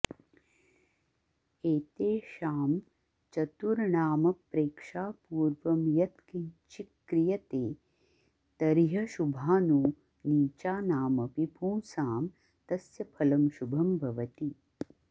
एतेषां चतुर्णामप्रेक्षापूर्वं यत्किंचिक्रियते तर्ह्यशुभानो नीचानामपि पुंसां तस्य फलं शुभं भवति